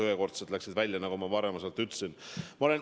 Ühekordsed juba läksid välja, nagu ma ütlesin.